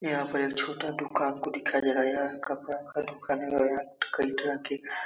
यहाँ पर एक छोटा दुकान को दिखाया गया है। यह कपड़ा का दुकान है और यहाँ कई तरह के --